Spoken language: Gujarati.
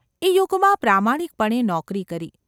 એ યુગમાં પ્રામાણિકપણે નોકરી કરી.